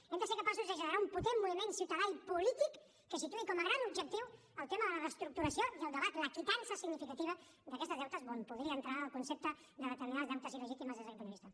hem de ser capaços de generar un potent moviment ciutadà i polític que situï com a gran objectiu el tema de la reestructuració i el debat de la quitança significativa d’aquests deutes on podria entrar el concepte de determinats deutes il·legítims des d’aquest punt de vista